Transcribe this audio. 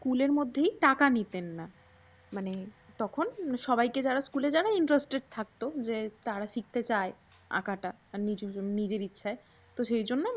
স্কুলের মধ্যেই টাকা নিতেন না। মানে তখন সবাইকে যারা স্কুলে যারা interested থাকতো যে তারা শিখতে চায় আঁকাটা কিছুজন নিজের ইচ্ছায় তো সেইজন্য